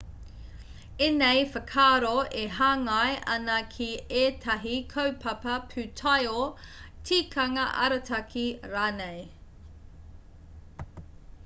ēnei whakaaro e hāngai ana ki ētahi kaupapa pūtaiao tikanga arataki rānei